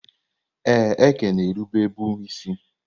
Ee, Eke na-erube bụ isi.